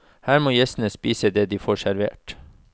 Her må gjestene spise det de får servert.